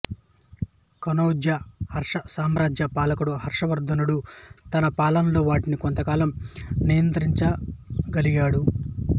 కన్నౌజు హర్షసామ్రాజ్య పాలకుడు హర్షవర్ధనుడు తన పాలనలో వాటిని కొంతకాలం నియంత్రించగలిగాడు